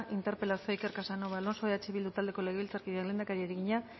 interpelazioa iker casanova alonso eh bildu taldeko legebiltzarkideak lehendakariari egina